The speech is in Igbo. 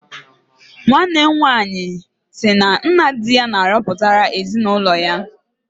Nwanne m nwaanyị nna di ya na-arọpụtara ezinụlọ ya.